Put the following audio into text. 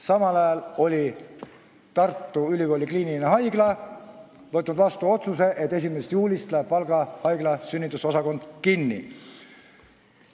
Samal ajal oli Tartu Ülikooli Kliinikum võtnud vastu otsuse, et 1. juulist läheb Valga Haigla sünnitusosakond kinni.